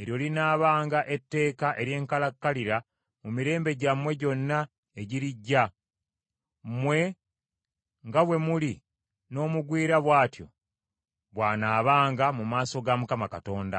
eryo linaabanga etteeka ery’enkalakkalira mu mirembe gyammwe gyonna egirijja. Mmwe nga bwe muli n’omugwira bw’atyo bw’anaabanga mu maaso ga Mukama Katonda.